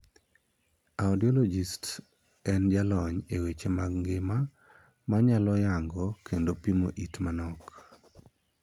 Audiologist' en jalony e weche ngima ma nyalo yango kendo pimo it manok.